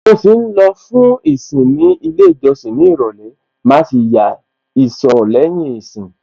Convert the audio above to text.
Mo ṣì ń lọ lọ fún ìsìn ní ilé ìjọsìn ní ìrọ̀lẹ́, màá sì ya ìsọ̀ lẹ́yìn ìsìn.